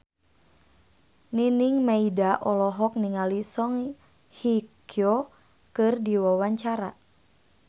Nining Meida olohok ningali Song Hye Kyo keur diwawancara